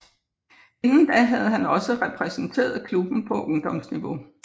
Inden da havde han også repræsenteret klubben på ungdomsniveau